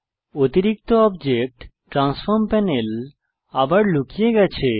অতিরিক্ত object transform panel আবার লুকিয়ে গেছে